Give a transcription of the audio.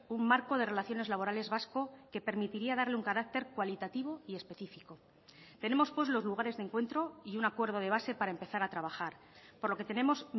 un marco de relaciones laborales vasco que permitiría darle un carácter cualitativo y específico tenemos pues los lugares de encuentro y un acuerdo de base para empezar a trabajar por lo que tenemos